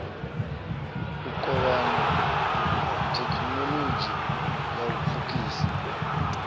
u kovhana thekhinolodzhi u pfukisa